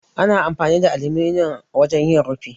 Ana amfani da aluminiyon wajen yin rufi.